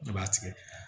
Ne b'a tigɛ